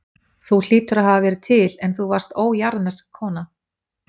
Þú hlýtur að hafa verið til, en þú varst ójarðnesk kona.